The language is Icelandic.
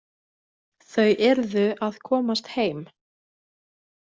Þau yrðu að komast heim.